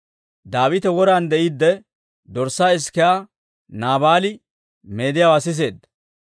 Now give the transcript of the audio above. Daawite woran de'iidde, dorssaa isikiyaa Naabaali meediyaawaa siseedda.